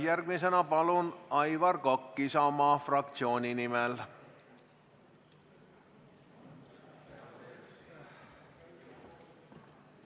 Järgmisena palun, Aivar Kokk Isamaa fraktsiooni nimel!